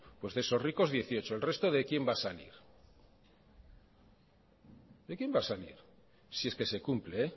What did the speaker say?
pues de esos ricos dieciocho el resto de quién va a salir de quién va a salir si es que se cumple